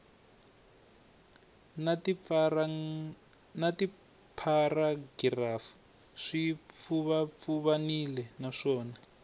na tipharagirafu swi pfuvapfuvanile naswona